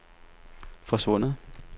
forsvundet